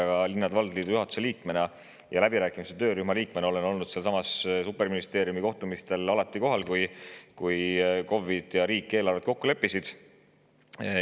Aga linnade-valdade liidu juhatuse liikmena ja läbirääkimiste töörühma liikmena olin superministeeriumis kohtumistel alati kohal, kui KOV‑id ja riik eelarvet kokku leppisid.